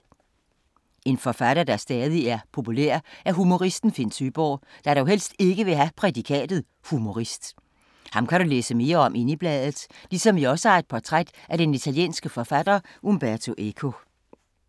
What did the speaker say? En forfatter, der stadig er populær, er humoristen Finn Søeborg, der dog helst ikke ville have prædikatet humorist. Ham kan du læse mere om inde i bladet, ligesom vi også har et portræt af den italienske forfatter Umberto Eco.